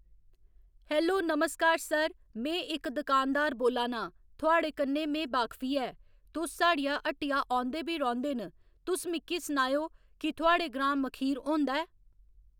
hello नमस्कार sir में इक दकानदार बोल्ला नां थुआढ़े कन्नै में बाकफी ऐ तुस साढ़िया हट्टिया औंदे बी रौंह्दे न तुस मिकी सनाएओ कि थुआढ़े ग्रांऽ मखीर होंदा ऐ